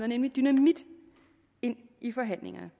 nemlig dynamit ind i forhandlingerne